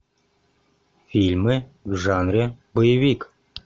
фильмы в жанре боевик